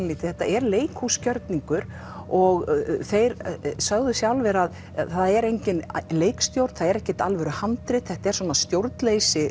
þetta er og þeir sögðu sjálfir að það er enginn leikstjórn ekkert alvöru handrit þetta er svona stjórnleysi